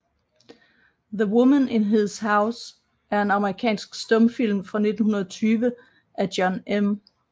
The Woman in His House er en amerikansk stumfilm fra 1920 af John M